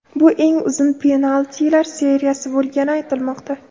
Bu eng uzun penaltilar seriyasi bo‘lgani aytilmoqda.